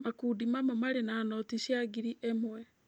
Makundi mamwe marĩ na noti cia ngiri ĩmwe.